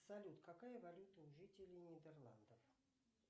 салют какая валюта у жителей нидерландов